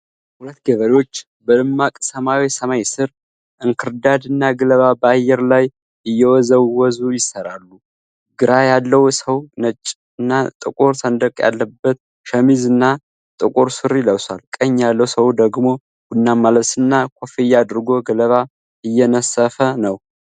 ሁለት ገበሬዎች በደማቅ ሰማያዊ ሰማይ ስር እንክርዳድ እና ገለባ በአየር ላይ እየወዘወዙይሰራሉ። ግራ ያለው ሰው ነጭና ጥቁር ሰንደቅ ያለበት ሸሚዝ እና ጥቁር ሱሪ ለብሷል፤ ቀኝ ያለው ሰው ደግሞ ቡናማ ልብስና ኮፍያ አድርጎ ገለባ እየነሰፈ ነው።